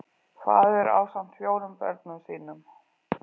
Faðir ásamt fjórum börnum sínum